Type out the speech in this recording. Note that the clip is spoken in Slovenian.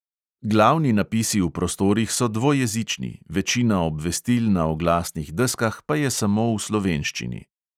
Glavni napisi v prostorih so dvojezični, večina obvestil na oglasnih deskah pa je samo v slovenščini.